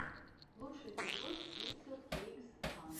лучший эпизод пикселкейксфан